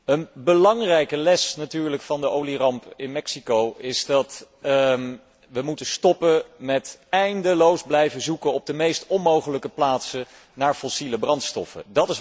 Een belangrijke les natuurlijk van de olieramp in Mexico is dat we moeten stoppen met eindeloos blijven zoeken op de meest onmogelijke plaatsen naar fossiele brandstoffen.